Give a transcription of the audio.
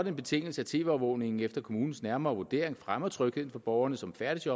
en betingelse at tv overvågningen efter kommunens nærmere vurdering fremmer trygheden for borgerne som færdes